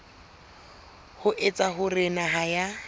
ho etsa hore naha ya